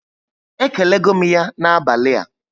E kelego m ya na abalị a